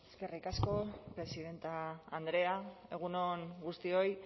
eskerrik asko presidente andrea egun on guztioi